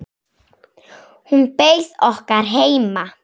Hún beið okkar heima.